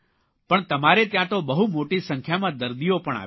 પણ તમારે ત્યાં તો બહુ મોટી સંખ્યામાં દર્દીઓ પણ આવે છે